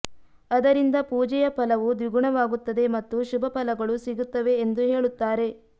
ಅದರಿಂದ ಪೂಜೆಯ ಪಲವು ದ್ವಿಗುಣವಾಗುತ್ತದೆ ಮತ್ತು ಶುಭ ಫಲಗಳು ಸಿಗುತ್ತವೆ ಎಂದು ಹೇಳುತ್ತಾರೆ